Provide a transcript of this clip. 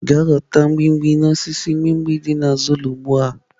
Gaa ghọta mgbimhbi n'osisi mgbimgbi dị n'azụ ụlọ ugbu a!